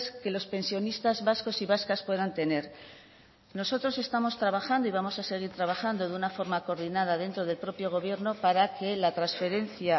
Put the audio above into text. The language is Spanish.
que los pensionistas vascos y vascas puedan tener nosotros estamos trabajando y vamos a seguir trabajando de una forma coordinada dentro del propio gobierno para que la transferencia